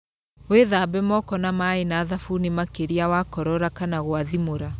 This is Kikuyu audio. Wĩthambe moko na maĩ na thabuni makĩria wakorora kana gwathimũra.